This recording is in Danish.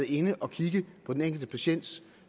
inde at kigge på den enkelte patients